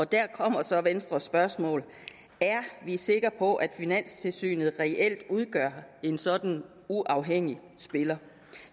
der kommer så venstres spørgsmål er vi sikre på at finanstilsynet reelt er en sådan uafhængig spiller